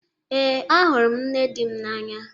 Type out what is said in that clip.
Ee, ahụrụ m nne dị m n'anya.